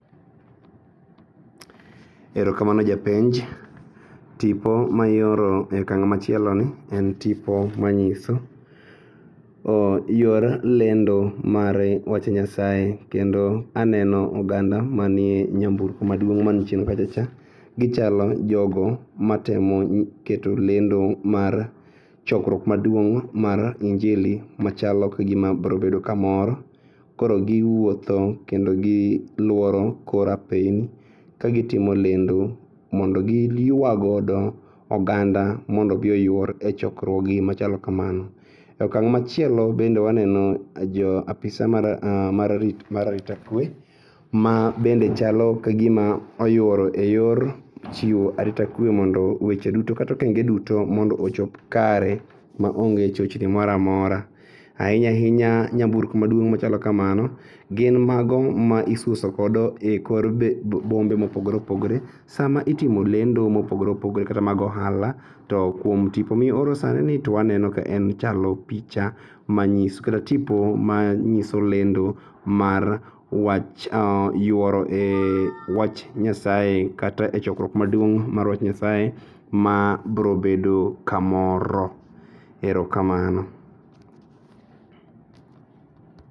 Erokamano japenj, tipo ma ioro e akang' machieloni en tipo manyiso yor lendo mar weche Nyasaye kendo aneno oganda manie ii nyamburko maduong' mani chien kacha cha. Gichalo jogo matemo keto lendo mar chokruok maduong' mar injili machalo kagima brobedo kamoro koro giwuotho kendo giluoro kora piny kagitimo lendo mondo giyua godo oganda mondo obii oyuor e chokruogi machalo kamano.E akang' machielo bende waneno jo apisa mar arita kue ma bende chalo ka gima oyuoro e yor chiwo arita kue mondo weche duto kata okenge duto mondo ochop kare maonge chochni moramora. Ainya inya nyamburko maduong' machalo kamano gin mago ma isuso kodo e kor bombe mopogore opogore. Sama itimo lendo mopogore opogore kata mag ohala to kuom tipo mioro sanini to waneno ka en ochalo picha manyiso kata tipo manyiso lendo mar yuoro e wach Nyasaye kata e chokruok maduong' mar wach Nyasaye ma brobedo kamoro. Erokamano.